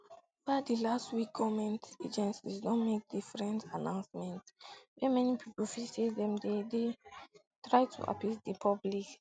ova di last week goment agencies don make different announcements wey many pipo feel say dem dey try to appease di public